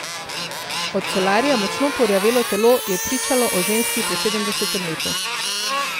Od solarija močno porjavelo telo je pričalo o ženski po sedemdesetem letu.